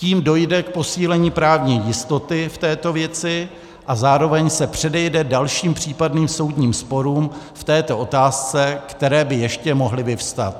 Tím dojde k posílení právní jistoty v této věci a zároveň se předejde dalším případným soudním sporům v této otázce, které by ještě mohly vyvstat.